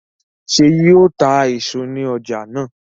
ṣe yíò tá èso ní ọjà náa?